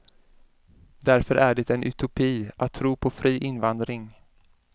Därför är det en utopi att tro på fri invandring.